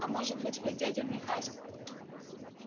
а может быть вы дядя михась